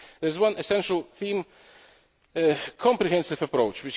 There is one essential theme a comprehensive approach.